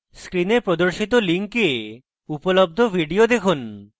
screen প্রদর্শিত link উপলব্ধ video দেখুন